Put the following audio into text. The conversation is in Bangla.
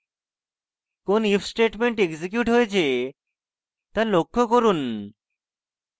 কোন if statement এক্সিকিউট হয়েছে তা লক্ষ্য করুন